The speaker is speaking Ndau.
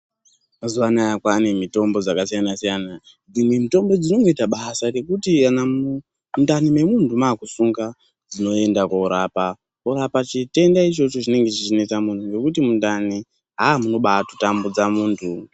Mazuwa anaya kwane mitombo dzakasiyana -siyana. Dzimwe mitombo dzinongoita basa rekuti kana mundani memunhu makusunga dzinoenda korapa. Kurapa chitenda ichocho chinenge chichinetsa muntu zvekuti mundani munobatotambudza muntu.